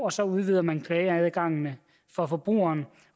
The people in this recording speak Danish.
og så udvider man klageadgangene for forbrugerne